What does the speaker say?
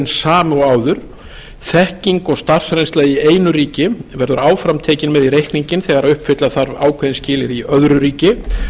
og áður þekking og starfsreynsla í einu ríki verður áfram tekin með í reikninginn þegar uppfylla þarf ákveðin skilyrði í öðru ríki og